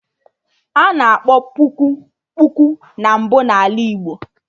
Ana akpọ puku, kpuku na mbụ na Ala Igbo